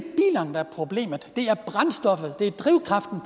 er problemet det er brændstoffet det er drivkraften